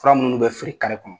Fura minnu n'u bɛ feere kɔnɔ.